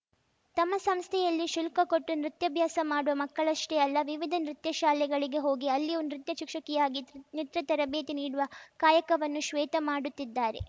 ತಮ್ಮ ಸಂಸ್ಥೆಯಲ್ಲಿ ಶುಲ್ಕ ಕೊಟ್ಟು ನೃತ್ಯಾಭ್ಯಾಸ ಮಾಡುವ ಮಕ್ಕಳಷ್ಟೇ ಅಲ್ಲ ವಿವಿಧ ನೃತ್ಯ ಶಾಲೆಗಳಿಗೆ ಹೋಗಿ ಅಲ್ಲಿಯೂ ನೃತ್ಯ ಶಿಕ್ಷಕಿಯಾಗಿ ನೃತ್ಯ ತರಬೇತಿ ನೀಡುವ ಕಾಯಕವನ್ನೂ ಶ್ವೇತಾ ಮಾಡುತ್ತಿದ್ದಾರೆ